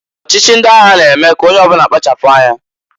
Ọchịchị ndị agha na-eme k'onye ọbụna kpachapụ anya.